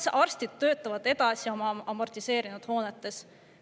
Las arstid töötavad edasi amortiseerunud hoonetes.